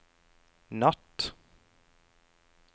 natt